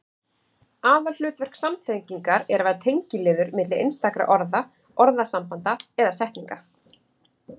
Aðalhlutverk samtengingar er að vera tengiliður milli einstakra orða, orðasambanda eða setninga.